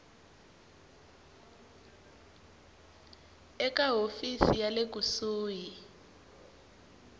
eka hofisi ya le kusuhi